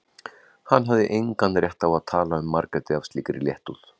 Hann hafði engan rétt á að tala um Margréti af slíkri léttúð.